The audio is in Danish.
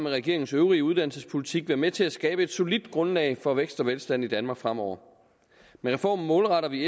regeringens øvrige uddannelsespolitik være med til at skabe et solidt grundlag for vækst og velstand i danmark fremover med reformen målretter vi